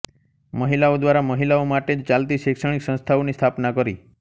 મહિલાઓ દ્વારા મહિલાઓ માટે જ ચાલતી શૈક્ષણિક સંસ્થાઓની સ્થાપના કરી